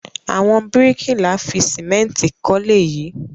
Àwọn bíríkìlà fi sìmẹ́ńtì kọ́lé yìí?